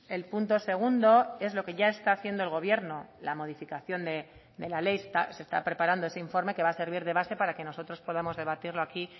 el punto segundo es lo que ya está haciendo el gobierno la modificación de la ley se está preparando ese informe que va a servir de base para que nosotros podamos debatirlo aquí